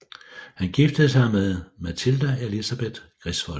Han giftede sig med Matilda Elizabeth Griswold